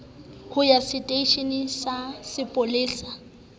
ho ya seteisheneng sa sepolesa